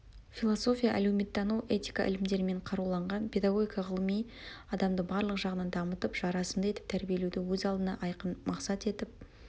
философия әлеуметтану этика ілімдерімен қаруланған педагогика ғылыми адамды барлық жағынан дамытып жарасымды етіп тәрбиелеуді өз алдына айқын мақсат етіп